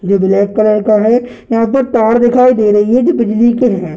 जो black colour का है यहां पर तार दिखाई दे रही है जो बिजली के हैं।